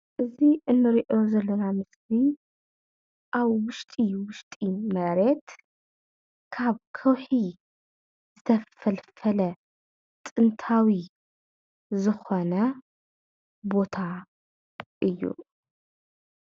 እዚ እንርኦ ዘለና ምስሊ አብ ውሽጢ ውሽጢ መሬት ካብ ከውሒ ዝተፈልፈለ ጥንታዊ ዝኾነ ቦታ እዩ፡፡